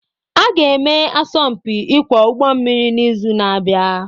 Aga-eme asọmpi ịkwọ ụgbọ mmiri n'izu na-abịa